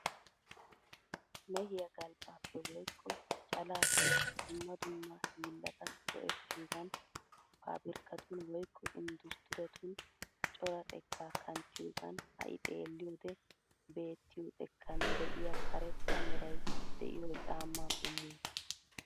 Meehiya galbbappe woykko calaappe dumma dumma hillata go'ettiyogan pabirkkatun woykko inddustturetun cora xeekka kanttiyogan ha'i xelliyode bettiyo xekkan de'iya karetta meray de'iyo caamma qommuwaa.